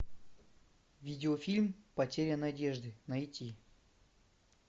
видеофильм потеря надежды найти